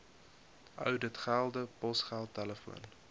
ouditgelde posgeld telefoon